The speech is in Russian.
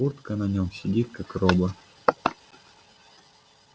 куртка на нем сидит как роба